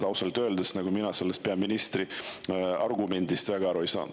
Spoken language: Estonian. Ausalt öeldes mina sellest peaministri argumendist väga aru ei saanud.